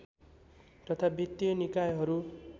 तथा बित्तीय निकायहरू